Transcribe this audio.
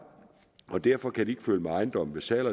og derfor kan den ikke følge med ejendommen ved salg